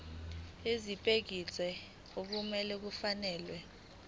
ezibekiwe okumele kufakelwe